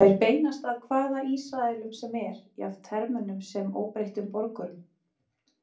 Þær beinast að hvaða Ísraelum sem er, jafnt hermönnum sem óbreyttum borgurum.